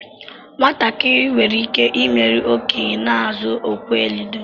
Nwatakịrị nwere ike imeri okenye na-izu okwe ludo.